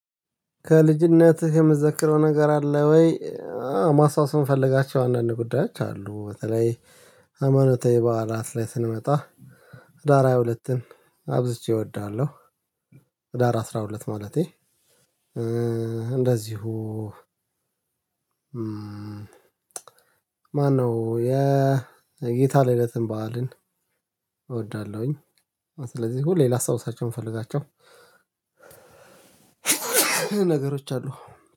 ከልጅነትህ የምትዘክረው ነገር አለ ወይ? ማስታወስን ምፈልጋቸው አንዳንድ ጉዳዮች አሉ። በተለይ ሃይማኖታዊ በዓላት ላይ ስንመጣ ህዳር ሃያ ሁለት አብዝቼ እወዳለሁ። ህዳር አስራ ሁለት ማለቴ እንደዚሁ ማነው የጌታ ልደትን በዓልን እወዳለሁኝ። ስለዚህ ሁሌ ላስታውሳቸውን ምፈልጋቸው ነገሮች አሉ።